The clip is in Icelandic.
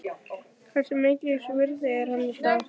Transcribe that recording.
Hversu mikils virði er hann í dag?